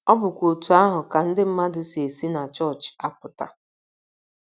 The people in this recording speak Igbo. Ọ bụkwa otú ahụ ka ndị mmadụ si esi na chọọchị apụta